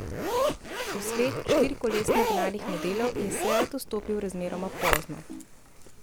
V svet štirikolesno gnanih modelov je seat vstopil razmeroma pozno.